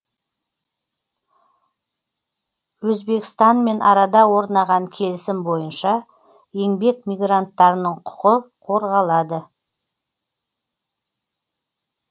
өзбекстанмен арада орнаған келісім бойынша еңбек мигранттарының құқы қорғалады